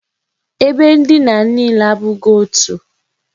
Ebe ndina niile abụghị otu ụdị.